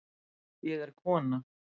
Ég er kona.